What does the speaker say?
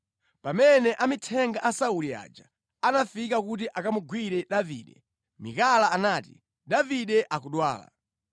Pamene amithenga a Sauli aja anafika kuti akamugwire Davide, Mikala anati, “Davide akudwala.”